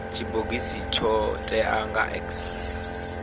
tshibogisi tsho teaho nga x